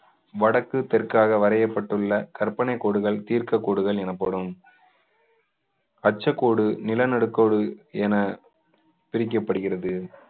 வடக்கு தெற்காக வரையப்பட்டுள்ள கற்பனை கோடுகள் தீர்க்கக் கோடுகள் எனப்படும் அச்சக்கோடு நிலநடுக்கோடு என பிரிக்கப்படுகிறது